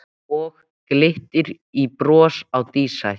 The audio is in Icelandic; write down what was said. Og glittir í bros á dísæt